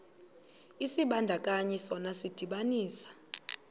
isibandakanyi sona sidibanisa